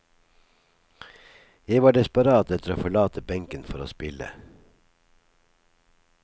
Jeg var desperat etter å forlate benken for å spille.